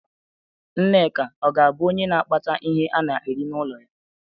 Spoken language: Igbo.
Nneka ọ ga abụ onye na akpata ihe ana-eri n'ụlọ ya?